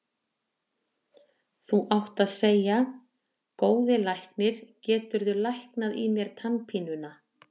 Þú átt að segja: Góði læknir, geturðu læknað í mér tannpínuna.